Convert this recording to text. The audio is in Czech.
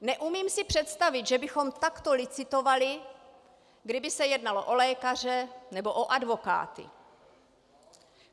Neumím si představit, že bychom takto licitovali, kdyby se jednalo o lékaře nebo o advokáty.